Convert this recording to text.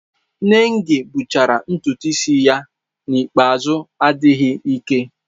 Nengi gbuchara ntutu isi ya n'ikpeazụ adịghị ike.